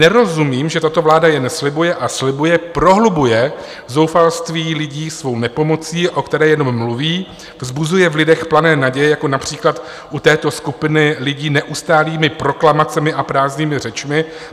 Nerozumím, že tato vláda jen slibuje a slibuje, prohlubuje zoufalství lidí svou nepomocí, o které jenom mluví, vzbuzuje v lidech plané naděje, jako například u této skupiny lidí neustálými proklamacemi a prázdnými řečmi.